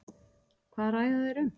Hvað ræða þeir um?